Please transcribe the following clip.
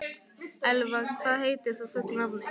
Elfa, hvað heitir þú fullu nafni?